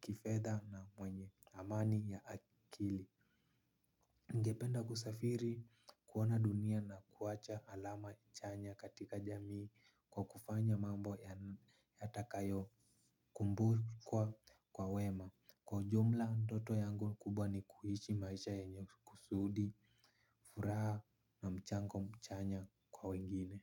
kifedha na mwenye amani ya akili ningependa kusafiri kuona dunia na kuacha alama chanya katika jamii kwa kufanya mambo yatakayo kumbukwa kwa wema. Kwa jumla, ndoto yangu kubwa ni kuishi maisha yenye kusudi, furaha na mchango chanya kwa wengine.